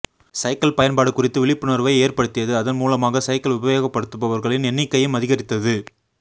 cycle பயன்பாடு குறித்து விழிப்புணர்வை ஏற்படுத்தியது அதன் மூலமாக சைக்கிள் உபயோகப்படுத்துபவர்களின் எண்ணிக்கையும் அதிகரித்தது